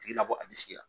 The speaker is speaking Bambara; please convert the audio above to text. Tigi nabɔ a disi la